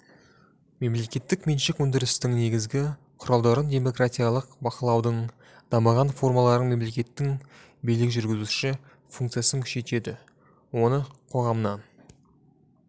мемлекеттік меншік өндірістің негізгі құралдарын демократиялық бақылаудың дамыған формаларын мемлекеттің билік жүргізу функциясын күшейтеді оны қоғамнан